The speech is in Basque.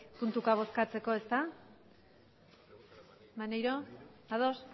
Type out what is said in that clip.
puntuka bozkatzeko ezta maneiro ados